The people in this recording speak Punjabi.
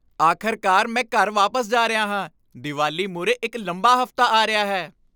ਆਖਰਕਾਰ ਮੈਂ ਘਰ ਵਾਪਸ ਜਾ ਰਿਹਾ ਹਾਂ। ਦੀਵਾਲੀ ਮੂਹਰੇ ਇੱਕ ਲੰਬਾ ਹਫ਼ਤਾ ਆ ਰਿਹਾ ਹੈ।